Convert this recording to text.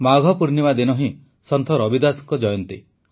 ମାଘ ପୂର୍ଣ୍ଣିମା ଦିନ ହିଁ ସନ୍ଥ ରବିଦାସଙ୍କ ଜୟନ୍ତୀ